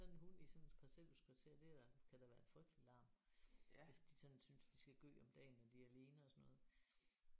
Sådan en hund i sådan et parcelhuskvarter det er da kan da være en frygtelig larm hvis de sådan synes de skal gø om dagen når de er alene og sådan noget